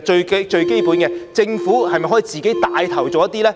最基本的是，政府可否帶頭做呢？